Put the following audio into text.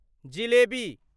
jalebi